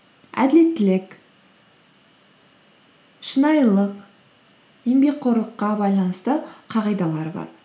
әділеттілік шынайылық еңбекқорлыққа байланысты қағидалар бар